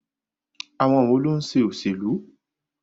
Àwọn wo ló ń ṣe òṣèlú?